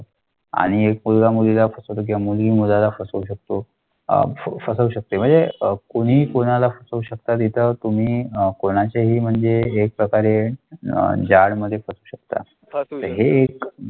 आणि एक मुलगा मुलगिला आणि मुलगि मुलगाला फसू शकटो अह म्हणजे कोणीही कोणाला फसू शकता तिथे तुम्ही अं कोणाचेही म्हणजे एक प्रकारे अं झाड मध्ये फसू शकता.